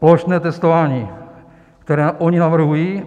Plošné testování, které oni navrhují...